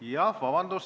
Vabandust!